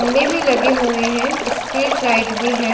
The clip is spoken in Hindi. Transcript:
में भी लगे हुए है स्प्रिट लाइट भी है।